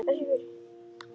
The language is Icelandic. Og það á norsku.